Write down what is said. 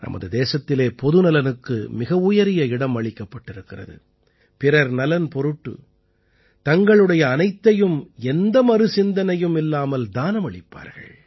நமது தேசத்திலே பொது நலனுக்கு மிக உயரிய இடம் அளிக்கப்பட்டிருக்கிறது பிறர் நலன் பொருட்டு தங்களுடைய அனைத்தையும் எந்த மறு சிந்தனையும் இல்லாமல் தானமளிப்பார்கள்